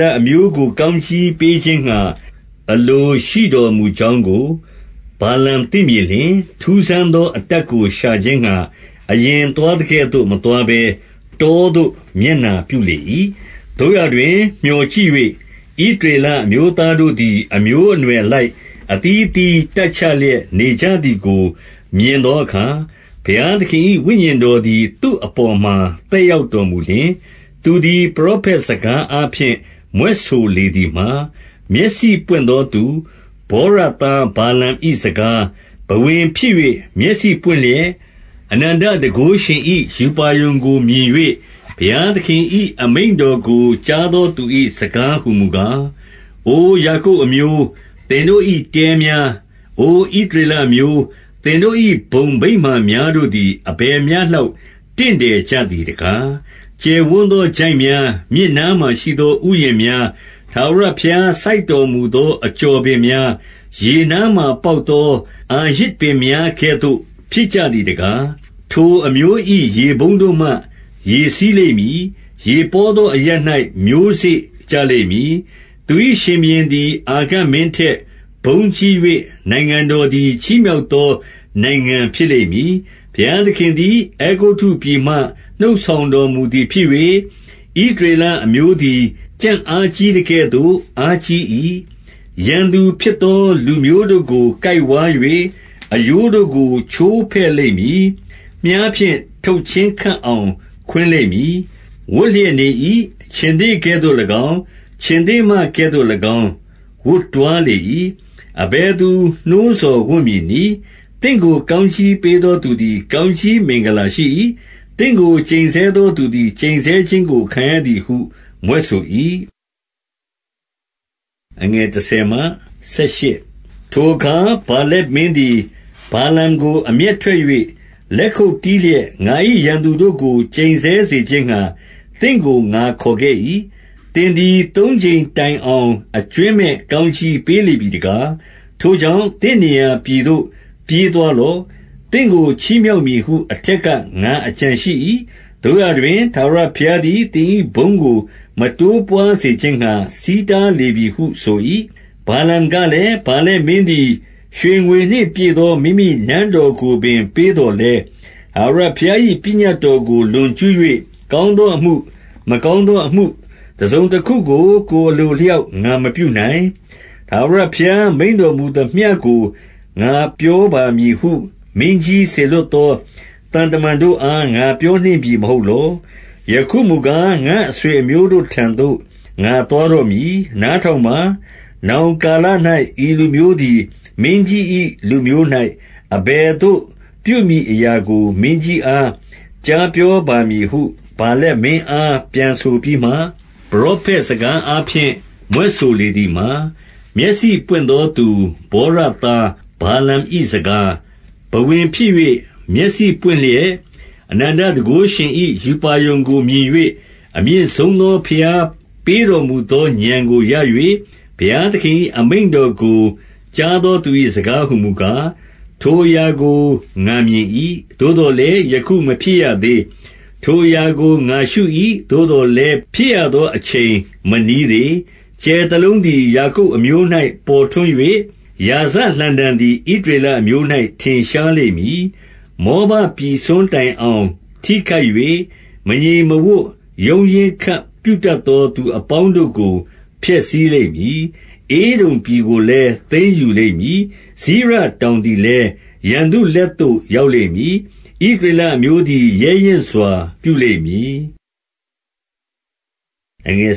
လ အမျိုးကို ကောင်းကြီးပေးခြင်းငှါ အလိုရှိတော်မူကြောင်းကို ဗာလမ် သိမြင်လျှင်၊ ထူးဆန်းသော အတတ်ကို ရှာခြင်းငှါ အရင် သွားသကဲ့သို့ မသွားဘဲ၊ တောသို့ မျက်နှာပြုလေ၏။ 2 သို့ရာတွင်၊ မြော်ကြည့်၍ ဣသရေလ အမျိုးသား တို့သည် အမျိုးအနွယ်အလိုက် အသီးအသီး တပ်ချလျက် နေကြသည်ကို မြင်သောအခါ၊ ဘုရားသခင်၏ ဝိညာဉ်တော်သည် သူ့အပေါ်မှာ သက်ရောက်တော်မူလျှင်၊ 3 သူသည် ပရောဖက် စကားအားဖြင့် မြွက်ဆိုလေသည်မှာ၊ မျက်စိ ပွင့်သောသူ၊ ဗောရသား ဗာလမ်၏ စကား၊ 4 ဘဝင်ဖြစ်၍ မျက်စိပွင့်လျက် အနန္တတန်ခိုးရှင် ၏ ရူပါရုံကိုမြင်၍၊ ဘုရားသခင်၏ အမိန့်တော်ကို ကြားသောသူ၏ စကားဟူမူကား၊ 5 အိုယာကုပ်အမျိုး၊ သင်တို့၏တဲများ၊ အိုဣသရေ လအမျိုး၊ သင်တို့၏ ဘုံဗိမာန်များတို့သည် အဘယ်မျှ လောက် တင့်တယ်ကြသည်တကား။ 6 ကျယ်ဝန်းသော ချိုင့်များ၊ မြစ်နားမှာရှိသော ဥယျာဉ်များ၊ ထာဝရဘုရား စိုက်တော်မူသော အကျော် ပင်များ၊ ရေနားမှာပေါက်သော အာရဇ်ပင်များကဲ့သို့ ဖြစ် ကြသည်တကား၊ 7 ထိုအမျိုး၏ ရေပုံးတို့မှ ရေစီးလိမ့်မည်။ ရေပေါ သော အရပ်၌ မျိုးစေ့ ကျလိမ့်မည်။ သူ၏ ရှင်ဘုရင်သည် အာဂတ်မင်းထက် ဘုန်းကြီး၍၊ နိုင်ငံတော်သည် ချီးမြှောက် သော နိုင်ငံဖြစ်လိမ့်မည်။ 8 ဘုရားသခင်သည် အဲဂုတ္တုပြည်မှ နှုတ်ဆောင် တော်မူသည်ဖြစ်၍၊ ဣသရေလအမျိုးသည်၊ ကြံ့အားကြီး သကဲ့သို့ အားကြီး၏။ ရန်သူဖြစ်သော လူမျိုးတို့ကို ကိုက် ဝါး၍၊ အရိုးတို့ကို ချိုးဖဲ့လိမ့်မည်။ မြှားဖြင့် ထုတ်ချင်း ခပ်အောင် ခွင်းလိမ့်မည်။ 9 ဝပ်လျက်နေ၏။ ခြင်္သေ့ကဲ့သို့၎င်း၊ ခြင်္သေ့မကဲ့ သို့၎င်း ဝပ်တွားလေ၏။ အဘယ်သူ နှိုးဆော်ဝံ့မည်နည်း။ သင့်ကို ကောင်းကြီးပေးသော သူသည် ကောင်းကြီး မင်္ဂလာရှိ၏။ သင့်ကို ကျိန်ဆဲသော သူသည် ကျိန်ဆဲခြင်း ကို ခံရသည်ဟု မြွက်ဆို၏။ 10 ထိုအခါ ဗာလက်မင်းသည်၊ ဗာလမ်ကို အမျက် ထွက်၍ လက်ခုပ်တီးလျက်၊ ငါ၏ ရန်သူတို့ကို ကျိန်ဆဲ စေခြင်းငှါ သင့်ကို ငါခေါ်ခဲ့၏။ သင်သည် သုံးကြိမ်တိုင် အောင် အကြွင်းမဲ့ ကောင်းကြီးပေးလေပြီတကား။ 11 ထိုကြောင့် သင့်နေရာပြည်သို့ ပြေးသွားလော့။ သင့်ကို ချီးမြှောက်မည်ဟု အထက်က ငါအကြံရှိ။ သို့ရာ တွင် ထာဝရဘုရားသည် သင်၏ဘုန်းကို မတိုးပွားစေ ခြင်းငှါ ဆီးတားလေပြီဟု ဆို၏။ 12 ဗာလမ်ကလည်း၊ ဗာလက်မင်းသည် ရွှေငွေနှင့် ပြည့်သော မိမိနန်းတော်ကိုပင် ပေးသော်လည်း၊ 13 ထာဝရဘုရား၏ ပညတ်တော်ကို လွန်ကျူး၍ ကောင်းသောအမှု၊ မကောင်းသောအမှုတစုံတခုကို ကိုယ်အလိုအလျောက် ငါမပြုနိုင်။ ထာဝရဘုရားမိန့်တော် မူသမျှကို ငါပြောပါမည်ဟု မင်းကြီးစေလွှတ်သော သံတမန်တို့အား ငါပြောနှင့်ပြီ မဟုတ်လော။ 14 ယခုမူကား၊ ငါ့အဆွေအမျိုးတို့ထံသို့ ငါသွား တော့မည်။ နားထောင်ပါ။ နောင်ကာလ၌ ဤလူမျိုးသည် မင်းကြီး၏လူမျိုး၌ အဘယ်သို့ ပြုမည်အရာကို မင်းကြီး အား ကြားပြောပါမည်ဟု ဗာလက်မင်းအား ပြန်ဆိုပြီးမှ၊ 15 ပရောဖက်စကားအားဖြင့် မြွက်ဆိုလေသည်မှာ၊ မျက်စိပွင့်သောသူ ဗောရသား ဗာလမ်၏စကား၊ 16 ဘဝင်ဖြစ်၍ မျက်စိပွင့်လျက်၊ အနန္တတန်ခိုးရှင် ၏ ရူပါရုံကို မြင်၍၊ အမြင့်ဆုံးသော ဘုရားပေးတော်မူ သော ဉာဏ်ကို ရ၍၊ ဘုရားသခင်၏အမိန့်တော်ကို ကြား သောသူ၏စကားဟူမူကား၊ 17 ထိုအရာကို ငါမြင်၏။ သို့သော်လည်း ယခု မဖြစ်ရသေး။ ထိုအရာကို ငါရှု၏။ သို့သော်လည်း ဖြစ်ရသော အချိန် မနီးသေး။ ကြယ်တလုံးသည် ယာကုပ် အမျိုး၌ ပေါ်ထွန်း၍၊ ရာဇလှံတံသည် ဣသရေလအမျိုး ၌ ထင်ရှားလိမ့်မည်။ မောဘပြည်စွန်းတိုင်အောင် ထိခိုက် ၍ မငြိမ်မဝပ်ရုန်းရင်းခပ် ပြုတတ်သော သူအပေါင်းတို့ကို ဖျက်ဆီးလိမ့်မည်။ 18 ဧဒုံပြည်ကိုလည်း သိမ်းယူလိမ့်မည်။ စိရတောင် သည်လည်း ရန်သူလက်သို့ ရောက်လိမ့်မည်။ ဣသရေလ အမျိုးသည် ရဲရင့်စွာ ပြုလိမ့်မည်။ 19 အ